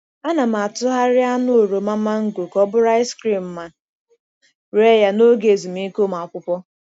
Ana m atụgharị anụ oroma mango ka ọ bụrụ ice cream ma ree ya n’oge ezumike ụmụ akwụkwọ.